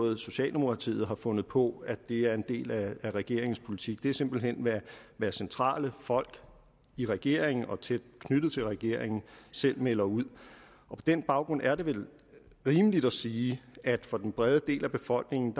er socialdemokratiet der har fundet på at det er en del af regeringens politik det er simpelt hen hvad centrale folk i regeringen og tæt knyttet til regeringen selv melder ud og på den baggrund er det vel rimeligt at sige at for den brede del af befolkningen